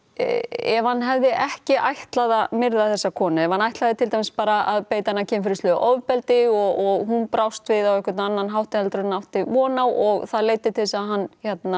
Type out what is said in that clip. ef hann hefði ekki ætlað að myrða þessa konu ef hann ætlaði til dæmis bara beita hana kynferðislegu ofbeldi og hún bjóst við á einhvern annan hátt en hann átti von á og það leiddi til þess að hann